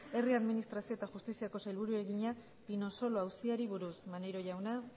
herri administrazio eta justiziako sailburuari egina pinosolo auziari buruz maneiro jauna